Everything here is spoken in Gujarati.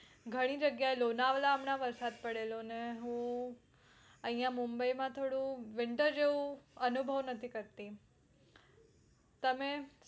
ઘણી જગ્યા એ લોનાવલા હમના વરસાદ પડેલો અને હું અયા મુંબઈ માં તો થોડું winter જેવું અનુભવ નથી કરતી તમે